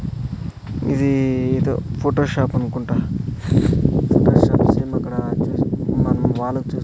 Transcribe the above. ఇది ఏదో Photoshop అనుకుంటా స్పెషల్ సేమ్ అక్కడ వచ్చేసి మనం వానొచ్చేసి --